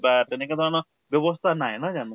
বা তেনেকা ধৰণৰ ব্য়ৱস্থা নাই নহয় জানো?